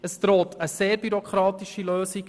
Es droht eine sehr bürokratische Lösung.